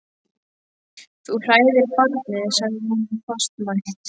Þú hræðir barnið, sagði hún fastmælt.